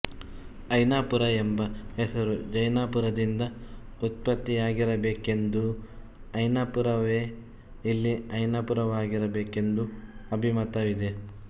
ಐನಾಪುರ ಎಂಬ ಹೆಸರು ಜೈನಾಪುರದಿಂದ ಉತ್ಪತ್ತಿಯಾಗಿರಬೇಕೆಂದೂ ಅಯ್ಯನಾಪುರವೇ ಇಲ್ಲಿ ಐನಾಪುರವಾಗಿರಬೇಕೆಂದೂ ಅಬಿಮತವಿದೆ